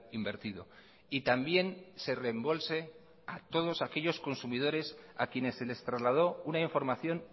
invertido y también se reembolse a todos aquellos consumidores a quienes se les trasladó una información